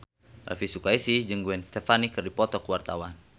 Elvi Sukaesih jeung Gwen Stefani keur dipoto ku wartawan